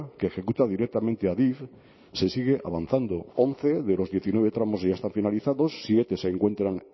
que ejecuta directamente adif se sigue avanzando once de los diecinueve tramos ya están finalizados siete se encuentran